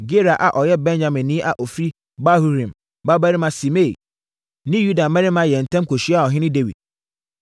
Gera a ɔyɛ Benyaminni a ɔfiri Bahurim babarima Simei ne Yuda mmarima yɛɛ ntɛm kɔhyiaa ɔhene Dawid.